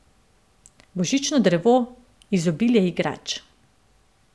Božično drevo, izobilje igrač.